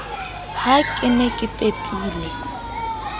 ha ke ne ke pepile